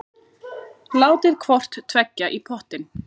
Látið hvort tveggja í pottinn.